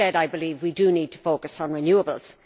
Instead, I believe we need to focus on renewables.